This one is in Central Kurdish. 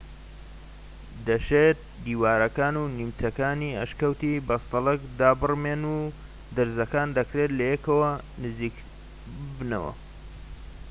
دەشێت دیوارەکان و بنمیچەکانی ئەشکەوتی بەستەڵەک دابڕمێن و درزەکان دەکرێت لەیەکەوە نزیک ببنەوە